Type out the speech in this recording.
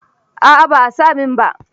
A'a ba a sa min ba.